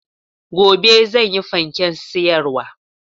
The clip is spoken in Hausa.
Gobe zanyi fanken siyarwa